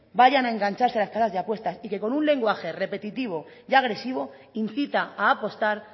vayan a engancharse a las casas de apuestas y que con un lenguaje repetitivo y agresivo incita a apostar